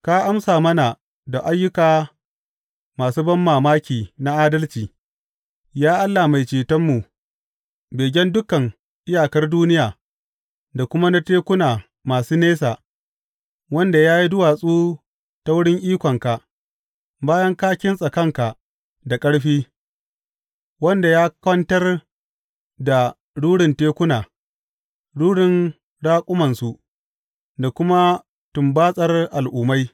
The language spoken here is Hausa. Ka amsa mana da ayyuka masu banmamaki na adalci, Ya Allah Mai Cetonmu, begen dukan iyakar duniya da kuma na tekuna masu nesa, wanda ya yi duwatsu ta wurin ikonka, bayan ka kintsa kanka da ƙarfi, wanda ya kwantar da rurin tekuna, rurin raƙumansu, da kuma tumbatsar al’ummai.